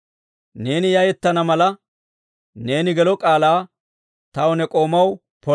Neeni yayetana mala, neeni gelo k'aalaa taw, ne k'oomaw pola.